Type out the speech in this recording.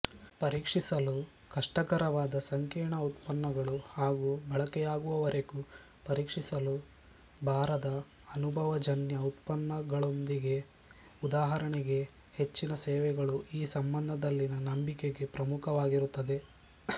ಪರೀಕ್ಷಿಸಲು ಕಷ್ಟಕರವಾದ ಸಂಕೀರ್ಣ ಉತ್ಪನ್ನಗಳು ಹಾಗು ಬಳಕೆಯಾಗುವವರೆಗೂ ಪರೀಕ್ಷಿಸಲು ಬಾರದ ಅನುಭವಜನ್ಯ ಉತ್ಪನ್ನಗಳೊಂದಿಗೆಉದಾಹರಣೆಗೆ ಹೆಚ್ಚಿನ ಸೇವೆಗಳುಈ ಸಂಬಂಧದಲ್ಲಿನ ನಂಬಿಕೆಗೆ ಪ್ರಮುಖವಾಗಿರುತ್ತದೆ